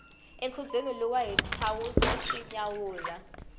enkhubyeni luwa hi thawuze swi nyawula